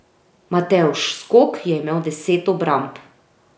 Matevž Skok je imel deset obramb.